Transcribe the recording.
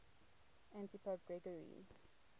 antipope gregory